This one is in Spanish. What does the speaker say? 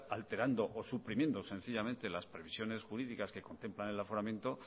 alterando o suprimiendo sencillamente las previsiones jurídicas que contemplan el aforamiento